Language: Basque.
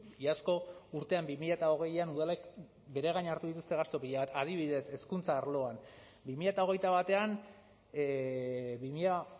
iazko urtean bi mila hogeian udalek bere gain hartu dituzte gastu pila bat adibidez hezkuntza arloan bi mila hogeita batean bi mila